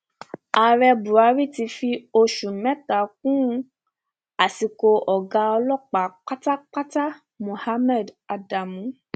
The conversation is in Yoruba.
ààrẹ buhari ti fi oṣù mẹta kún àsìkò ọgá ọlọpàá pátápátá muhammed adamu